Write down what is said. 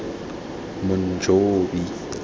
monjobi